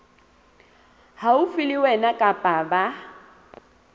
haufi le wena kapa ba